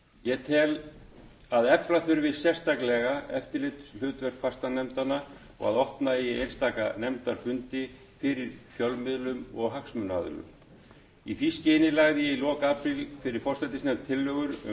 ég tel að efla þurfi sérstaklega eftirlitshlutverk fastanefndanna og að opna eigi einstaka nefndarfundi fyrir fjölmiðlum og hagsmunaaðilum í því skyni lagði ég fyrir lok apríl fyrir forsætisnefnd tillögur um